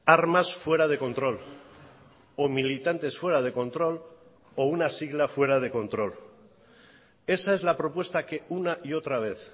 armas fuera de control o militantes fuera de control o una sigla fuera de control esa es la propuesta que una y otra vez